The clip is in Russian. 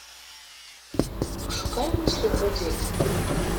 пошукай мысли в воде